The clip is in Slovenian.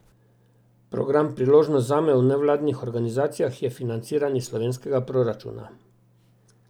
Program Priložnost zame v nevladnih organizacijah je financiran iz slovenskega proračuna.